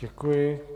Děkuji.